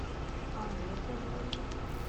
омлет на двоих